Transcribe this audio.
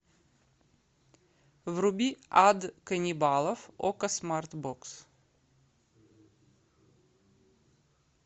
вруби ад каннибалов окко смарт бокс